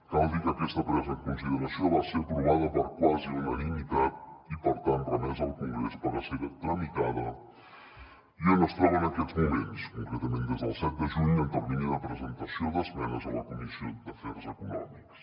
cal dir que aquesta presa en consideració va ser aprovada per quasi unanimitat i per tant remesa al congrés per a ser tramitada i on es troba en aquests moments concretament des del set de juny el termini de presentació d’esmenes a la comissió d’afers econòmics